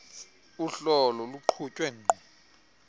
uhlolo luqhutywe qho